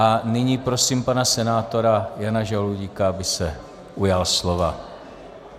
A nyní prosím pana senátora Jana Žaloudíka, aby se ujal slova.